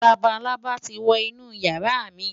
Labalábá ti wo inú ìyàrá mi.